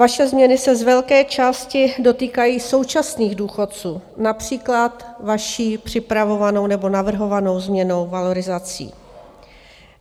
Vaše změny se z velké části dotýkají současných důchodců, například vaší připravovanou nebo navrhovanou změnou valorizací.